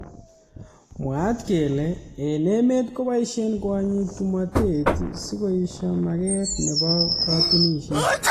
mwaat kele eng emet koboishe kwonyik tomotet sikoisto maket nebo katunishet.